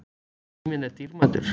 Tíminn er dýrmætur